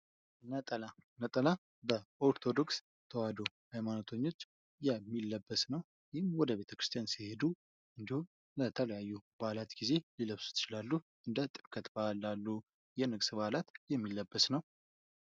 ነጠላ ነጠላ፦ በኦርቶዶክስ ተዋሕዶ ሃይማኖቶች የሚለበስ ነው። ይህም ወደ ቤተክርስቲያን ሲሄዱ ለተለያዩ በአላት ሊለብሱት ይችላሉ። እንደ ጥምቀት በአል ላሉ የንግስ በአላት የሚለበስ ነው።